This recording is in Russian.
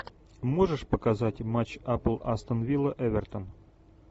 можешь показать матч апл астон вилла эвертон